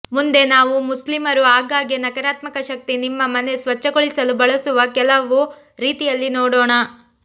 ಮುಂದೆ ನಾವು ಮುಸ್ಲಿಮರು ಆಗಾಗ್ಗೆ ನಕಾರಾತ್ಮಕ ಶಕ್ತಿ ನಿಮ್ಮ ಮನೆ ಸ್ವಚ್ಛಗೊಳಿಸಲು ಬಳಸುವ ಕೆಲವು ರೀತಿಯಲ್ಲಿ ನೋಡೋಣ